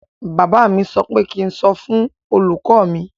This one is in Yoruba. Bàbá mi sọ pé kí ń sọ fún olùkọ mi.